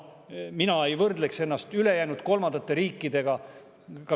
Mina ei võrdleks meid ülejäänud kolmandate riikidega.